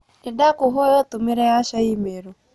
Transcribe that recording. Nĩndakũhoya ũtũmĩre Asha i-mīrū